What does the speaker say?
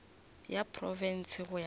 ya profense go ya ka